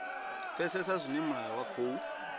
pfesesa zwine mulayo wa khou